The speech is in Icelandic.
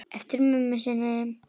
Eftir mömmu sinni.